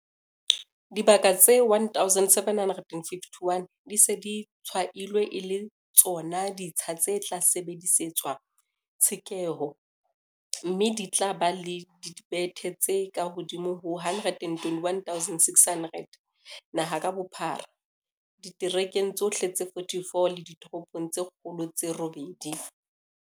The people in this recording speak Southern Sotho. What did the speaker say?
Dibaka tse 1 751 di se di tshwailwe e le tsona ditsha tse tla sebedisetswa tshekeho, mme di tla ba le dibethe tse kahodimo ho 129 600 naha ka bophara, diterekeng tsohle tse 44 le ditoropong tse kgolo tse robedi.